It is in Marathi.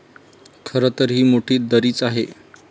खरं तर, ही मोठी दरीच आहे.